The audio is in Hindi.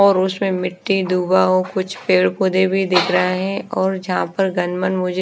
और उसमें मिट्टी दुबा हो कुछ पेड़ पौधे भी दिख रहे हैं और जहां पर गण मन मुझे--